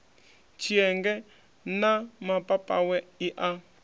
tshienge na mapapawe i a